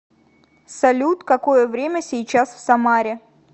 салют какое время сейчас в самаре